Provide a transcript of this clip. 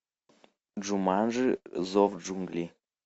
джуманджи зов джунглей